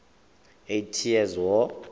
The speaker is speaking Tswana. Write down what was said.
eighty years war